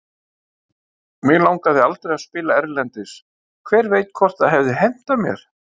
Mig langaði aldrei að spila erlendis, hver veit hvort það hefði hentað mér?